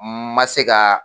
N ma se ka.